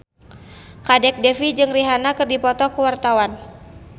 Kadek Devi jeung Rihanna keur dipoto ku wartawan